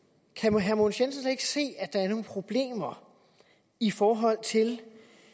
kan herre mogens jensen ikke se at der er nogle problemer i forhold til